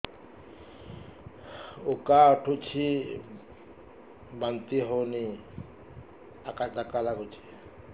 ଉକା ଉଠୁଚି ବାନ୍ତି ହଉନି ଆକାଚାକା ନାଗୁଚି